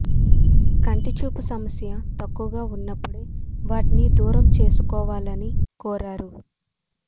కంటి చూపు సమస్య తక్కువగా ఉన్నప్పుడే వాటిని దూరం చేసుకోవాలని కోరారు